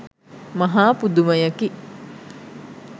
මහා පුදුමයකි